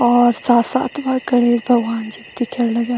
और साथ-साथ वा गणेश भगवान जी भी दिखेंण लग्याँ।